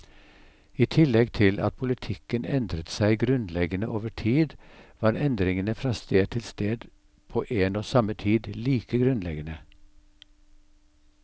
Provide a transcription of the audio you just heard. I tillegg til at politikken endret seg grunnleggende over tid, var endringene fra sted til sted på en og samme tid like grunnleggende.